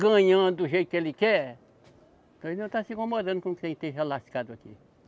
Ganhando do jeito que ele quer, que ele não está se incomodando com quem esteja lascado aqui.